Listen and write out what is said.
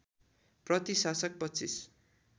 प्रति शासक २५